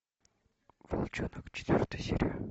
волчонок четвертая серия